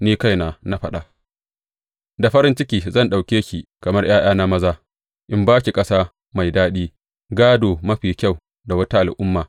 Ni kaina na faɗa, Da farin ciki zan ɗauke ki kamar ’ya’yana maza in ba ki ƙasa mai daɗi, gādo mafi kyau da wata al’umma.’